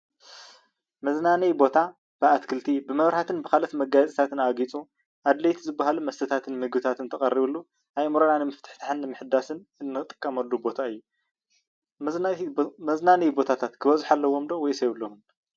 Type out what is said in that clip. መዝናነይ ቦታ ብኣትክልት፣ ብመብራህትን ብካልኦት መጋየፅታትን ኣጊፁ ኣድለይቲ ዝበሃሉ መስተታትን ምግብታትን ተቀሪቡሉ ኣእምሮና ንምፍትታሕን ምሕዳስን እንጥቀመሉ ቦታ እዩ፡፡ መዝናነይ ቦታታት ክበዝሑ ኣለዎም ዶ ወይስ የብሎምን?